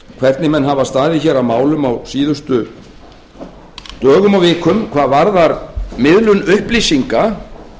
hvernig menn hafa staðið að málum á síðustu dögum og vikum hvað varðar miðlun upplýsinga